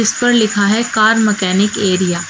इस पर लिखा है कार मेकेनिक एरिया ।